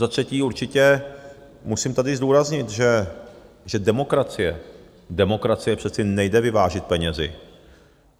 Za třetí, určitě musím tady zdůraznit, že demokracii přece nejde vyvážit penězi.